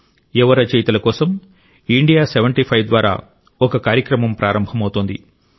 యువ రచయితల కోసం ఇండియా సెవెన్టీ ఫైవ్ ద్వారా ఒక కార్యక్రమం ప్రారంభమవుతోంది